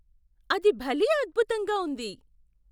అది భలే అద్భుతంగా ఉంది!